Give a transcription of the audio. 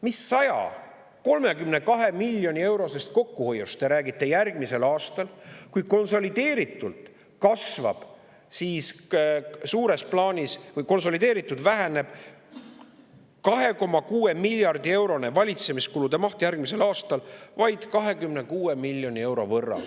Mis 132 miljoni eurosest kokkuhoiust järgmisel aastal te räägite, kui konsolideeritult väheneb 2,6 miljardi eurone valitsemiskulude maht järgmisel aastal vaid 26 miljoni euro võrra.